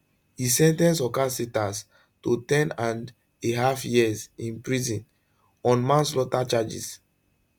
e sen ten ce horcasitas to 10andahalf years in prison on manslaughter charges